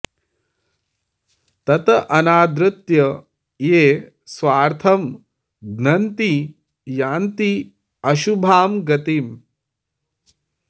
तत् अनादृत्य ये स्वार्थं घ्नन्ति यान्ति अशुभां गतिम्